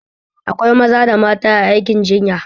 Akwa maza da mata a aikin jinya